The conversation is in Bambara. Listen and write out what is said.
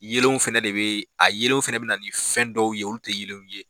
Yelenw fɛnɛ de be a yelenw fɛnɛ bina na nin fɛn dɔw ye olu ti yelenw ye.